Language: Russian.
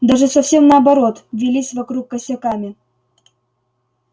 даже совсем наоборот вились вокруг косяками